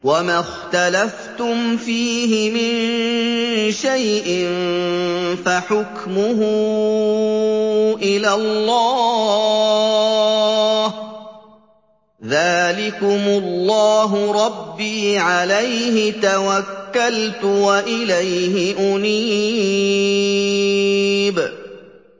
وَمَا اخْتَلَفْتُمْ فِيهِ مِن شَيْءٍ فَحُكْمُهُ إِلَى اللَّهِ ۚ ذَٰلِكُمُ اللَّهُ رَبِّي عَلَيْهِ تَوَكَّلْتُ وَإِلَيْهِ أُنِيبُ